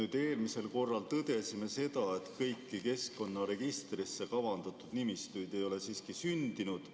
Me eelmisel korral tõdesime seda, et kõiki keskkonnaregistrisse kavandatud nimistuid ei ole sündinud.